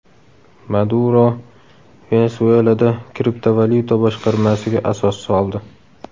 Maduro Venesuelada kriptovalyuta boshqarmasiga asos soldi.